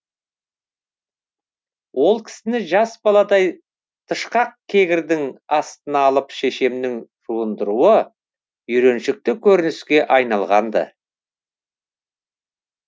ол кісіні жас баладай тышқақ кегірдің астына алып шешемнің жуындыруы үйреншікті көрініске айналған ды